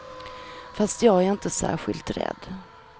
Fast jag är inte särskilt rädd.